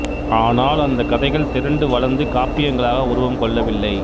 ஆனால் அந்தக் கதைகள் திரண்டு வளர்ந்து காப்பியங்களாக உருவம் கொள்ளவில்லை